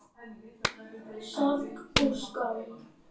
Sorg og skömm.